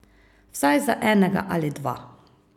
Vsaj za enega ali dva.